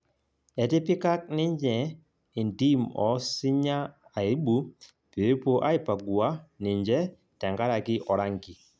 Etipikak ninye entim osinya aibu peepuo aipagua ninje tenkaraki orangi